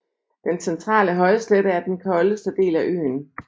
Den centrale højslette er den koldeste del af øen